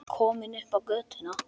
Komin upp á götuna.